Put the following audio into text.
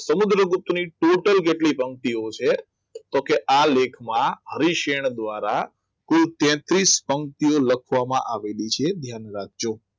સમુદ્રગુપ્ત ની total કેટલી પંક્તિઓ છે તો આ કે લેખમાં ભવિષ્ય દ્વારા તો કુલ તેત્રિસ પંક્તિઓ લખવામાં આવેલી છે ધ્યાન રાખજો